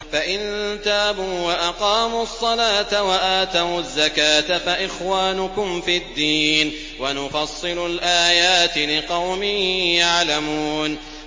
فَإِن تَابُوا وَأَقَامُوا الصَّلَاةَ وَآتَوُا الزَّكَاةَ فَإِخْوَانُكُمْ فِي الدِّينِ ۗ وَنُفَصِّلُ الْآيَاتِ لِقَوْمٍ يَعْلَمُونَ